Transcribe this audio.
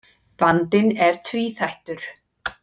Vandinn er tvíþættur.